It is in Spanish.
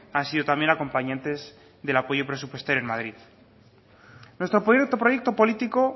han sido también acompañantes del apoyo presupuestario en madrid nuestro proyecto político